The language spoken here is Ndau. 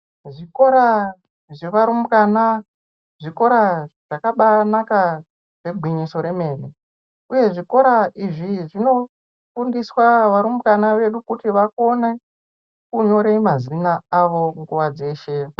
Zvikora zvevarumbwana zvikora zvakabanaka negwinyiso remene uye zvikora izvi zvinofundiswa varumbwana vedu kuti vakone kunyore mazina avo nguwa dzeshe.